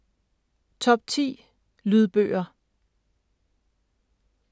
Top 10 Lydbøger